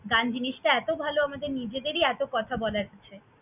গান জিনিসটা এতো ভালো আমাদের নিজেদেরই এতো কথা বলার আছে।